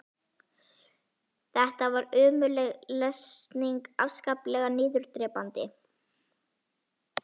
Þetta var ömurleg lesning, afskaplega niðurdrepandi.